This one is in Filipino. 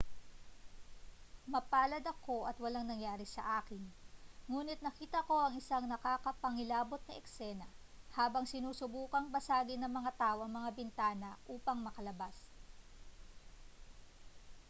mapalad ako at walang nangyari sa akin nguni't nakita ko ang isang nakapangingilabot na eksena habang sinusubukang basagin ng mga tao ang mga bintana upang makalabas